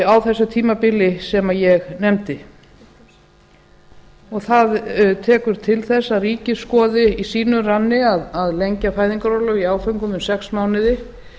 á þessu tímabili sem ég nefndi það tekur til þess að ríkið skoði í sínum ranni að lengja fæðingarorlof í áföngum um sex mánuði